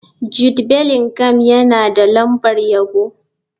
Jude Bellingham yana da lambar yabo.